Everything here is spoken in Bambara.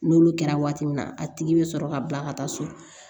N'olu kɛra waati min na a tigi bɛ sɔrɔ ka bila ka taa so